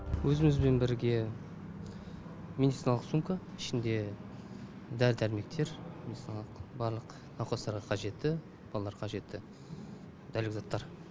өзімізбен бірге медициналық сумка ішінде дәрі дәрмектер мысалы барлық науқастарға қажетті балаларға қажетті дәрілік заттар